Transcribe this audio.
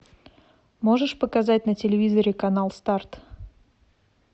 можешь показать на телевизоре канал старт